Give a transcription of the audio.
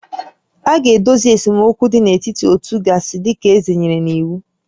A ga-edozi esemokwu dị n'etiti ótú gasị dị ka eze nyere n'iwu